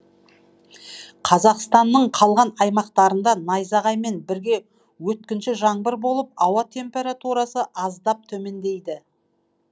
қазақстанның қалған аймақтарында найзағаймен бірге өткінші жаңбыр болып ауа температурасы аздап төмендейді